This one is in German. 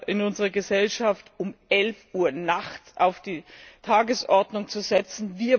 in unserer Gesellschaft um elf Uhr nachts auf die Tagesordnung zu setzen.